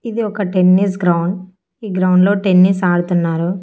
ఇది ఒక tennis ground ఈ గ్రౌండ్లో టెన్నిస్ ఆడుతున్నారు.